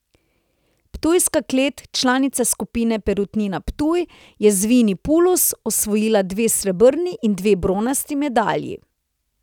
Ptujska klet, članica skupine Perutnina Ptuj, je z vini pullus osvojila dve srebrni in dve bronasti medalji.